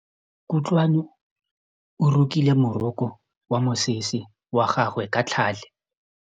Kutlwanô o rokile morokô wa mosese wa gagwe ka tlhale.